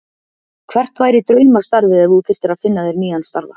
Hvert væri draumastarfið ef þú þyrftir að finna þér nýjan starfa?